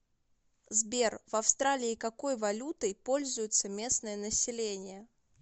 сбер в австралии какой валютой пользуется местное население